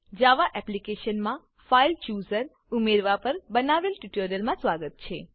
જાવા એપ્લીકેશનમાં file chooser file chooser ઉમેરવા પર બનાવેલ ટ્યુટોરીયલમાં સ્વાગત છે